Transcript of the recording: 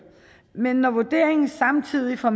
men når vurderingen samtidig fra